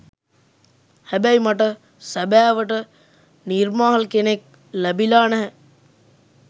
හැබැයි මට සැබෑවට නිර්මාල් කෙනෙක් ලැබිලා නැහැ.